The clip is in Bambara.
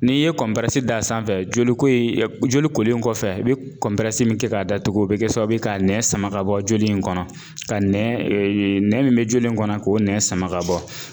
N'i ye d'a sanfɛ joliko ye joli kolen kɔfɛ i be min kɛ k'a datugu o bɛ kɛ sababu ye k'a nɛ sama k'a bɔ joli in kɔnɔ ka nɛ nɛ min be joli in kɔnɔ k'o nɛ sama k'a bɔ.